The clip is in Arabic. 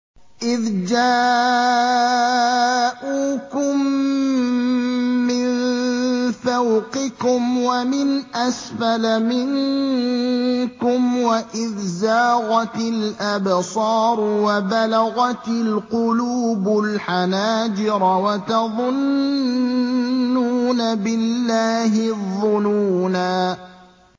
إِذْ جَاءُوكُم مِّن فَوْقِكُمْ وَمِنْ أَسْفَلَ مِنكُمْ وَإِذْ زَاغَتِ الْأَبْصَارُ وَبَلَغَتِ الْقُلُوبُ الْحَنَاجِرَ وَتَظُنُّونَ بِاللَّهِ الظُّنُونَا